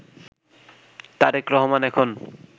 তারেক রহমান এখন